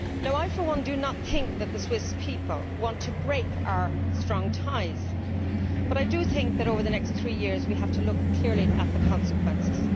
I, for one, do not think that the Swiss people want to break our strong ties, but I do think that over the next three years we have to look clearly at the consequences.